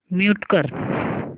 mute कर